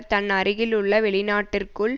தன் அருகிலுள்ள வெளிநாட்டிற்குள்